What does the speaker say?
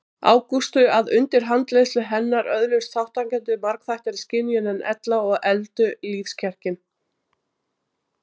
Ágústu að undir handleiðslu hennar öðluðust þátttakendur margþættari skynjun en ella og efldu lífskjarkinn.